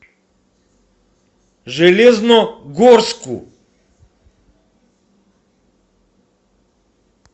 железногорску